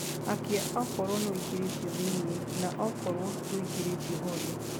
akĩa okrwo ni uingiritio thĩĩni na okorwo nduingiritio horia